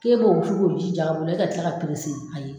K'e k'o ju k'o ji j'a bolo e ka tila ayi